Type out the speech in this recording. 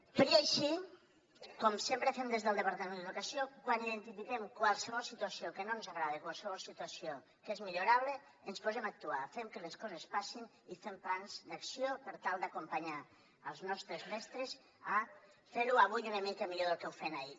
tot i així com sempre fem des del departament d’educació quan identifiquem qualsevol situació que no ens agrada qualsevol situació que és millorable ens posem a actuar fem que les coses passin i fem plans d’acció per tal d’acompanyar els nostres mestres a fer ho avui una mica millor del que ho fèiem ahir